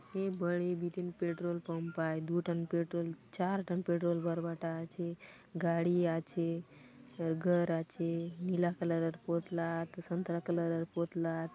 ये बड़ी बीतिन पेट्रोल पम्प आए दू टन पेट्रोल चार टन पेट्रोल बरबटा आछे गाड़ी आछे घर आछे नीला कलर पोतला त संतरा कलर पोतला --